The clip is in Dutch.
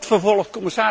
Het wordt vervolgd.